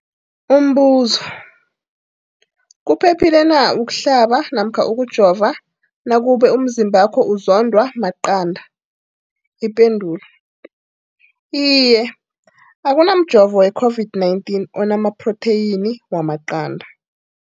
Umbuzo, kuphephile na ukuhlaba namkha ukujova nakube umzimbakho uzondwa maqanda. Ipendulo, Iye. Akuna mjovo we-COVID-19 ona maphrotheyini wamaqanda.